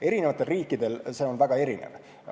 Eri riikidel on see väga erinev.